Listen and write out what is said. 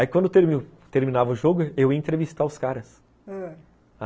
Aí quando terminava o jogo, eu ia entrevistar os caras, ãh